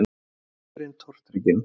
sagði drengurinn tortrygginn.